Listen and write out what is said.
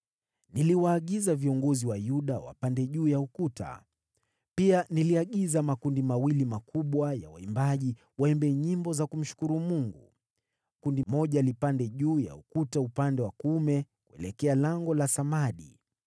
Niliwaagiza viongozi wa Yuda wapande juu ya ukuta. Pia niliagiza makundi mawili makubwa ya waimbaji waimbe nyimbo za kumshukuru Mungu. Kundi moja lilipanda juu ya ukuta upande wa kuume, kuelekea Lango la Samadi.